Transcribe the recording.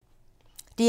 DR1